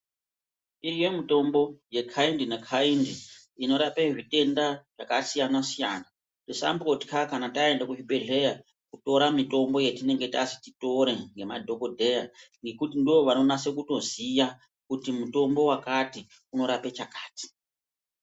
Iriyo mitombo yekhaindi nekhaindi inorape zvitenda zvakasiyana siyana, tisambotya kana taende kuzvibhedhleya kutora mitombo yetinenge tazi titore nemadhokodheya ngokuti ndoo vanonatso kutoziya kuti mutombo wakati unorape chakati.